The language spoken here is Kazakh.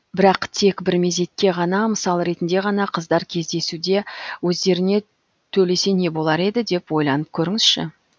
бірақ тек бір мезетке ғана мысал ретінде ғана қыздар кездесуде өздеріне төлесе не болар еді деп ойланып көріңізші